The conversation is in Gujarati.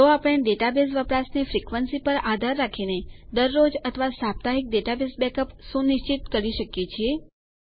તો આપણે ડેટાબેઝ વપરાશની ફ્રીકવેન્સી આવર્તન પર આધાર રાખીને દરરોજ અથવા સાપ્તાહિક ડેટાબેઝ બેકઅપ સુનિશ્ચિત કરી શકીએ છીએ